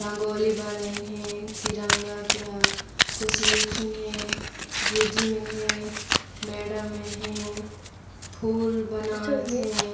रंगोली बनईन हे तिरंगा के ह कुछ लिखिन हे गुरजी मन हे मैडम मन हे फूल बनात हे ।